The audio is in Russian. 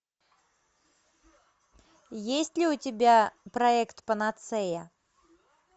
есть ли у тебя проект панацея